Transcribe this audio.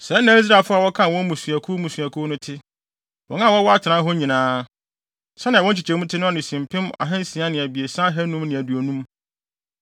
Sɛɛ na Israelfo a wɔkan wɔn mmusuakuw mmusuakuw no te. Wɔn a wɔwɔ atenae hɔ nyinaa, sɛnea wɔn nkyekyɛmu te no ano si mpem ahansia ne abiɛsa ahannum ne aduonum (603,550).